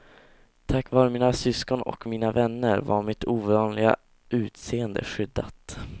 Tack vare mina syskon och mina vänner var mitt ovanliga utseende skyddat.